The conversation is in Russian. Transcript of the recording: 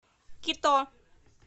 кито